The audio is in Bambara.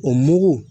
O mugu